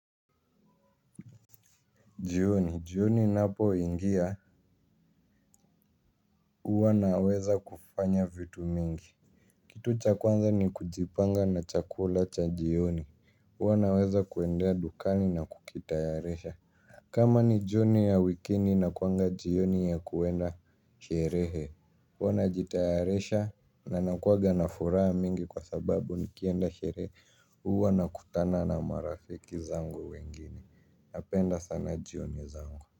Jioni, jioni inapoingia huwa naweza kufanya vitu mingi. Kitu cha kwanza ni kujipanga na chakula cha jioni huwa naweza kuendea dukani na kukitayarisha. Kama ni jioni ya wikini inakuanga jioni ya kuenda sherehe huwa najitayaresha na nakuwaga na furaha mingi kwa sababu nikienda sherehe huwa nakutana na marafiki zangu wengine. Napenda sana jioni zangu.